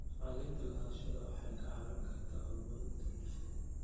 Cadaynta lahaanshaha waxay kaa caawin kartaa horumarinta bulshada.